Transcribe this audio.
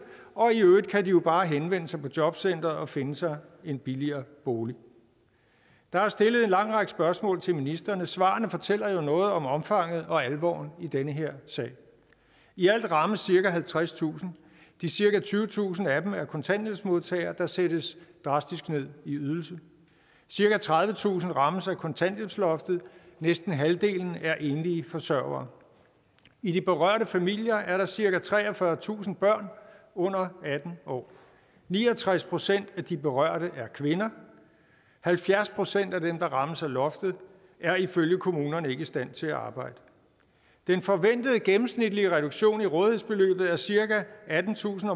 og i øvrigt kan de bare henvende sig på jobcenteret og finde sig en billigere bolig der er stillet en lang række spørgsmål til ministrene svarene fortæller jo noget om omfanget og alvoren i den her sag i alt rammes cirka halvtredstusind de cirka tyvetusind af dem er kontanthjælpsmodtagere der sættes drastisk ned i ydelse cirka tredivetusind rammes af kontanthjælpsloftet næsten halvdelen er enlige forsørgere i de berørte familier er der cirka treogfyrretusind børn under atten år ni og tres procent af de berørte er kvinder halvfjerds procent af dem der rammes af loftet er ifølge kommunerne ikke i stand til at arbejde den forventede gennemsnitlige reduktion i rådighedsbeløbet er cirka attentusind